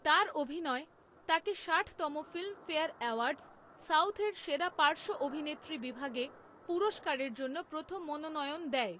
তার অভিনয় তাকে ষাটতম ফিল্মফেয়ার অ্যাওয়ার্ডস সাউথের সেরা পার্শ্ব অভিনেত্রী বিভাগে পুরস্কারের জন্য প্রথম মনোনয়ন দেয়।